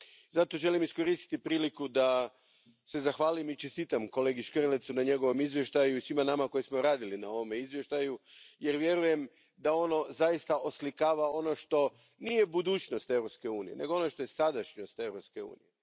Zato želim iskoristiti priliku da se zahvalim i čestitam kolegi Škrlecu na njegovom izvještaju i svima nama koji smo radili na ovome izvještaju, jer vjerujem da ono zaista oslikava ono što nije budućnost Europske unije, nego ono što je sadašnjost Europske unije.